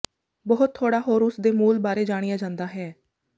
ਬਹੁਤ ਥੋੜਾ ਹੋਰ ਉਸ ਦੇ ਮੂਲ ਬਾਰੇ ਜਾਣਿਆ ਜਾਂਦਾ ਹੈ